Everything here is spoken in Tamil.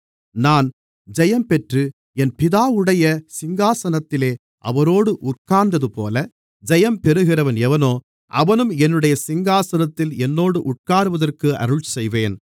நான் ஜெயம்பெற்று என் பிதாவுடைய சிங்காசனத்திலே அவரோடு உட்கார்ந்ததுபோல ஜெயம் பெறுகிறவன் எவனோ அவனும் என்னுடைய சிங்காசனத்தில் என்னோடு உட்காருவதற்கு அருள்செய்வேன்